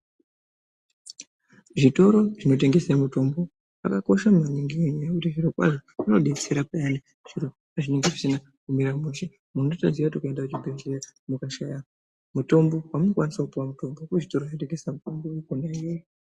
Zvitoro zvinotengesa mutombo zvakakosha maningi ngenyaya yekuti zvirokwazvo zvinobetsera payani zviro pazvinenge zvisina kumira mushe. Unotoziya kuti mukaenda kuchibhedhleya mukashaya mutombo kwamunokwanisa kupuva mutombo kuzvitoro zvinotengesa mutombo.